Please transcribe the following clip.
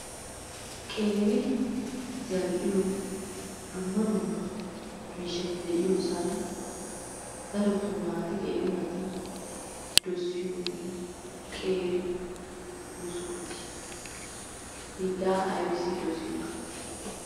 Qeeri zal"iyo dumma dumma miishshati de'iyosan darotton naati qeeri naati dossiyoogee qeeri buskkuutiya. Hegaa aybissi dossiyona?